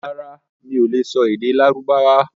Rárá, mi ò lè sọ èdè Lárúbáwá.